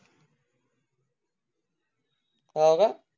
काय मनाला